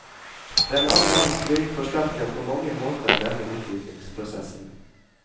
Den annen verdenskrig forsterket på mange måter denne utviklingsprosessen.